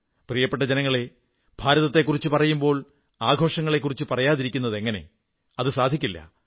പ്രിയപ്പെട്ട ജനങ്ങളേ ഭാരതത്തെക്കുറിച്ചു പറയുമ്പോൾ ആഘോഷങ്ങളെക്കുറിച്ചു പറയാതിരിക്കുന്നതെങ്ങനെ അതു സാധിക്കില്ല